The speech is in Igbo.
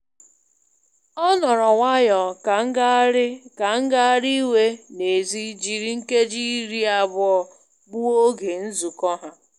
Ọ nọrọ nwayọ ka ngagharị ka ngagharị iwe n'èzí jiri nkeji iri abụọ gbuo oge nzụkọ ha.